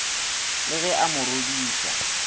le ge a mo rodiša